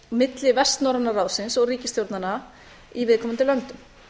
milli vestnorræna ráðsins og ríkisstjórnanna í viðkomandi löndum